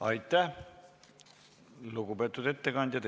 Aitäh, lugupeetud ettekandja!